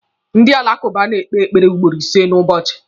Ndị alakụba na-ekpe ekpere ugboro ìsé n'ụbọchị.